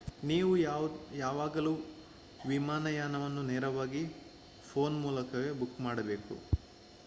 ನೀವು ಯಾವಾಗಲೂ ವಿಮಾನಯಾನವನ್ನು ನೇರವಾಗಿ ಫೋನ್ ಮೂಲಕವೇ ಬುಕ್ ಮಾಡಬೇಕು